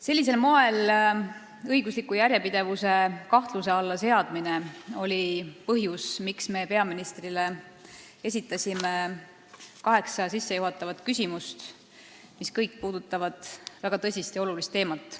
Sellisel moel õigusliku järjepidevuse kahtluse alla seadmine oli põhjus, miks me esitasime peaministrile kaheksa küsimust, mis kõik puudutavad väga tõsist ja olulist teemat.